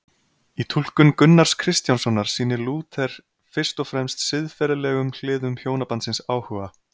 Í túlkun Gunnars Kristjánssonar sýnir Lúther fyrst og fremst siðferðilegum hliðum hjónabandsins áhuga.